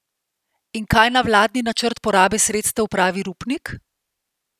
In kaj na vladni načrt porabe sredstev pravi Rupnik?